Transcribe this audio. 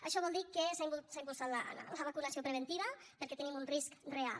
això vol dir que s’ha impulsat la vacunació preventiva perquè tenim un risc real